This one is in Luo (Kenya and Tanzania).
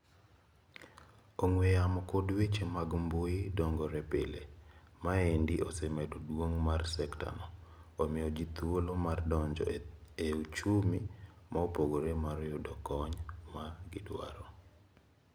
Ong'we yamo kod weche mag mbui dongore pile. Maendi osemedo duong' mar sekta no. Omio jii thuolo mar donjo e ochumi maopogore mar yudo kony ma gidwaro.